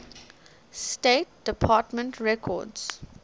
state department records